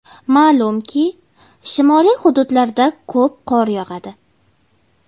Ma’lumki shimoliy hududlarda ko‘p qor yog‘adi.